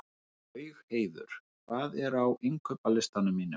Laugheiður, hvað er á innkaupalistanum mínum?